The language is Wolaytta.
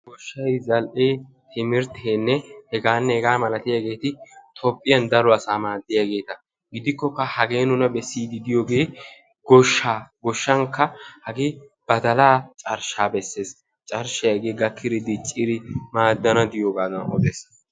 Goshshay, zal"e, timirttenne heganne hega malatiyaageeti Toophiyaan daro asaa maadiyaageeta; gidikkokkaa hagee nuunabessidi diyooge goshsha; goshshankka badala carshsha beessees; carshshay diccidi gakkidi maadana diyooga odes.